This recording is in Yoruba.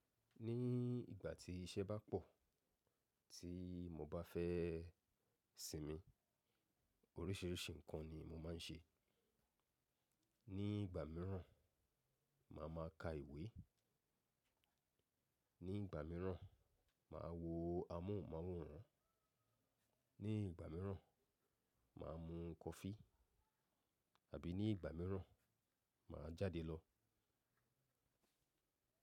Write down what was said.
Ní ìgbà tí iṣẹ́ bá pọ̀, tí mo bá fẹ́ sinmi, oríṣìíríṣìí nǹkan ni mo máa ń ṣe. Ní ìgbà míràn, màá ma ka ìwé, ní ìgbà míràn, màá wo amóhùnmáwòrán, ní ìgbà míràn, màá mú coffee, àbí ní ìgbà míràn, màá jáde lọ.